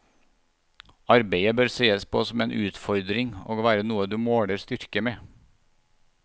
Arbeidet bør sees på som en utfordring og være noe du måler styrke med.